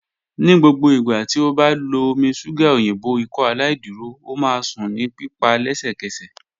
Ni gbogbo igba ti o ba lo omi ṣuga oyinbo Ikọaláìdúró, o ma sun ni pipa lẹsẹkẹsẹ